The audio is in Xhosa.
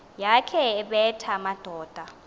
yakhe ebetha amadoda